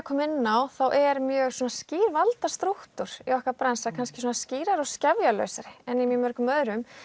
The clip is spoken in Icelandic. kom inn á þá er mjög skýr valdastrúktúr í okkar bransa kannski skýrari og en í mörgum öðrum